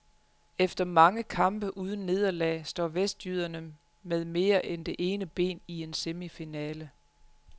Efter mange kampe uden nederlag står vestjyderne med mere end det ene ben i en semifinale.